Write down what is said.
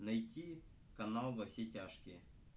найти канал во все тяжкие